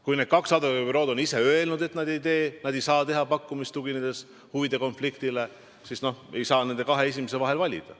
Kui need kaks advokaadibürood on ise öelnud, et nad ei tee, nad ei saa teha pakkumist huvide konflikti tõttu, siis ei saa nende kahe esimese vahel valida.